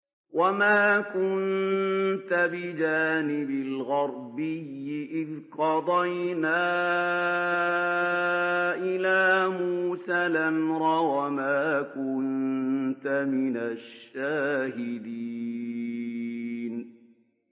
وَمَا كُنتَ بِجَانِبِ الْغَرْبِيِّ إِذْ قَضَيْنَا إِلَىٰ مُوسَى الْأَمْرَ وَمَا كُنتَ مِنَ الشَّاهِدِينَ